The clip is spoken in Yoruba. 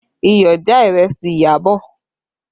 Iyọ̀ já ìrẹsì Iyabọ̀